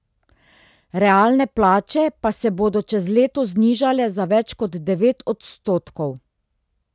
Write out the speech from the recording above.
Realne plače pa se bodo čez leto znižale za več kot devet odstotkov.